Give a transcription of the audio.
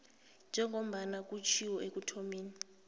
njengombana kutjhiwo ekuthomeni